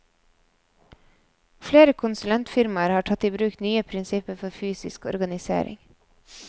Flere konsulentfirmaer har tatt i bruk nye prinsipper for fysisk organisering.